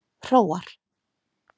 Hróar